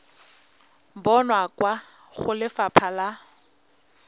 bonwa kwa go lefapha la